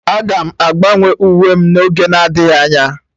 Aga m agbanwe uwe m n'oge adịghị anya